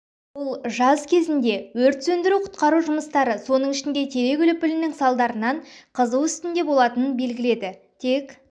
ол жаз кезінде өрт сөндіру-құтқару жұмыстары соның ішінде терек үліпілінің салдарынан қызу үстінде болатынын белгіледі тек